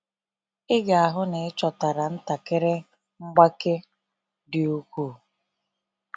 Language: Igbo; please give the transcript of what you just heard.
Ị ga-ahụ na ịchọtara ntakịrị mgbake dị ukwuu.